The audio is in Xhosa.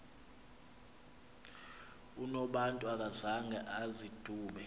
unobantu akazanga azidube